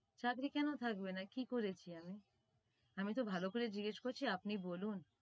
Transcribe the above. চাকরী কেন থাকবে না কি করেছি আমি? আমিতো ভালো করেই জিজ্ঞেস করছি আপনি বলুন